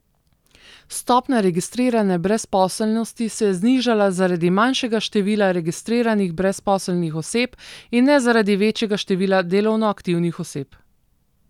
Stopnja registrirane brezposelnosti se je znižala zaradi manjšega števila registriranih brezposelnih oseb, in ne zaradi večjega števila delovno aktivnih oseb.